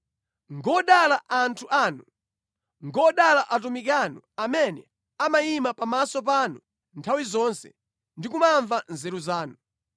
Ngodala anthu anu! Ngodala atumiki anu amene amayimirira pamaso panu nthawi zonse ndi kumamva nzeru zanu!